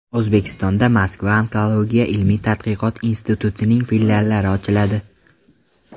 O‘zbekistonda Moskva onkologiya ilmiy-tadqiqot institutining filiallari ochiladi.